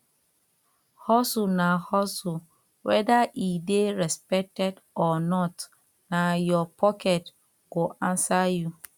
hustle na hustle whether e de respected or not na your pocket go answer you